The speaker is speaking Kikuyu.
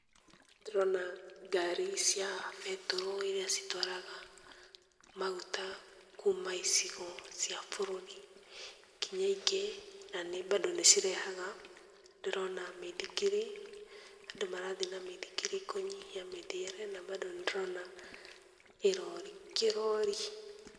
Ndĩrona ngari cia betũrũ iria citwaraga maguta kuuma icigo cia bũrũri nginya ingĩ na nĩ bado nĩ cirehaga. Ndĩrona mĩthikiri, andũ marathi na mĩthikiri kũnyihia mĩthiĩre na bado nĩ ndĩrona irori kĩrori.